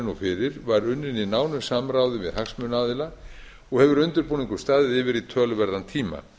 nú fyrir var unnin í nánu samráði við hagsmunaaðila og hefur undirbúningur staðið yfir í töluverðan tíma